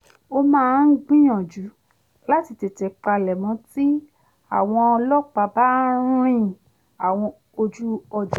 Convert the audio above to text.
mo máa ń gbìyànjú láti tètè palẹ̀mọ́ tí àwọn ọlọ́pàá bá ń rin àwọn ojú ọjà